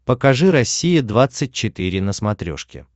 покажи россия двадцать четыре на смотрешке